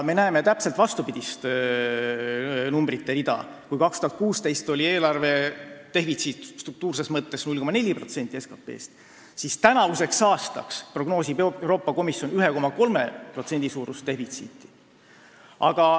Me näeme täpselt vastupidist numbrite rida: kui 2016. aastal oli eelarvedefitsiit struktuurses mõttes 0,4% SKT-st, siis tänavuseks aastaks prognoosib Euroopa Komisjon meile 1,3% suurust defitsiiti.